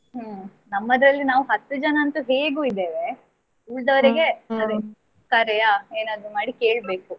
ಹ್ಮ್ ನಮ್ಮದ್ರಲ್ಲಿ ನಾವು ಹತ್ತು ಜನ ಅಂತೂ ಹೇಗೂ ಇದ್ದೇವೆ ಉಳಿದವರಿಗೆ ಕರೆಯ ಏನಾದ್ರು ಮಾಡಿ ಕೇಳ್ಬೇಕು.